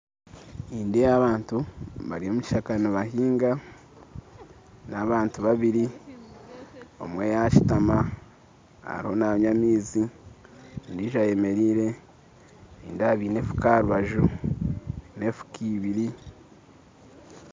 Nindeeba abantu bari omukishaka nibahinga n'abantu babiri omwe yashutama ariho nanywa amaizi ondijo ayemereire nindeeba baine enfuka aharubaju n'enfuka ibiri